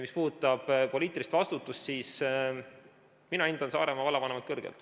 Mis puudutab poliitilist vastutust, siis mina hindan Saaremaa vallavanemat kõrgelt.